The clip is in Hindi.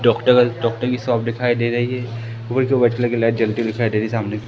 डॉक्टर डॉक्टर की शॉप दिखाई दे रही है ऊपर की ओर व्हाइट कलर की लाइट जलती हुई दिखाई दे रही है सामने--